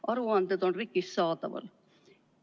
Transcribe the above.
Aruanded on RIK-is saadaval.